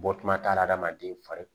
Bɔtuma t'a la adamaden fari